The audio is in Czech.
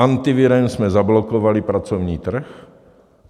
Antivirem jsme zablokovali pracovní trh.